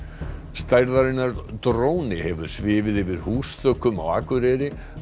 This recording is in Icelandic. stærðarinnar dróni hefur svifið yfir húsþökum á Akureyri